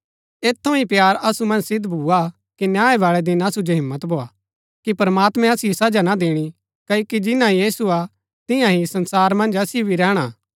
ऐत थऊँ ही प्‍यार असु मन्ज सिद्व भुआ कि न्याय बाळै दिन असु जो हिम्मत भोआ कि प्रमात्मैं असिओ सजा ना दीणी क्ओकि जिन्‍ना यीशु हा तियां ही संसारा मन्ज असिओ भी रैहणा हा